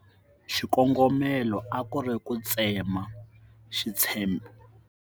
Xikongomelo a ku ri ku tsema xitshembi .